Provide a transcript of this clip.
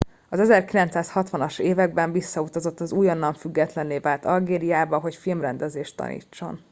az 1960 as években visszautazott az újonnan függetlenné vált algériába hogy filmrendezést tanítson